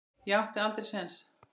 Ég átti aldrei séns.